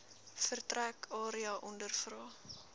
vertrek area ondervra